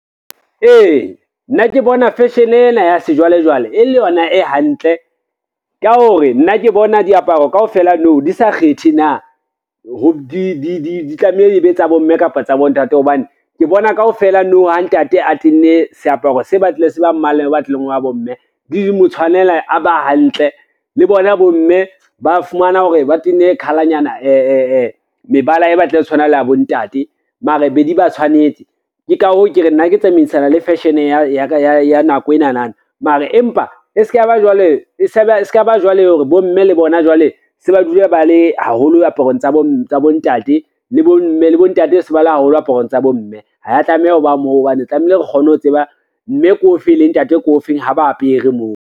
Ee, nna ke bona fashion ena ya sejwalejwale e le yona e hantle ka hore, nna ke bona diaparo kaofela nou di sa kgethe na ho di tlameha di be tsa bomme kapa tsa bontate, hobane ke bona kaofela nou ha ntate a tenne seaparo se batlile se ba mmala o batlileng wa bomme di mo tshwanela a ba hantle le bona bomme ba fumana hore ba tenne mebala e batlile e tshwana le ya bontate mara be di ba tshwanetse. Ke ka hoo ke re nna ke tsamaisana le fashion ya nako enana, mara empa e ska ba jwale hore bomme le bona jwale se ba dula ba le haholo ho diaparong tsa bontate le bontate se bala haholo aparong tsa bomme, ha ya tlameha ho ba moo hobane tlamehile re kgone ho tseba mme ke o fe, le ntate ke o feng ha ba apere moo.